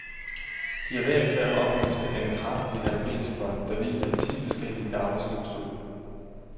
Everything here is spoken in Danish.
De er hver især oplyst af en kraftig halogenspot, der hviler i ti forskellige dagligstuestole.